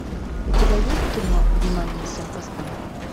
у тебя есть кино внимание всем постам